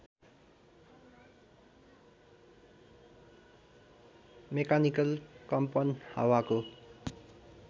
mechanical कम्पन हावाको